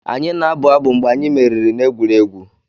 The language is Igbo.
Anyị na-abụ abụ mgbe anyị meriri n'egwuregwu.